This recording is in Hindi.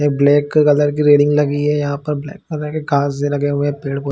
एक ब्लैक कलर की रेडिंग लगी यहाँ पर ब्लैक कलर के कार्स भी लगे हुए है पेड़ - पौधे --